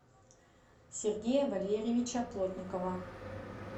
сергея валерьевича плотникова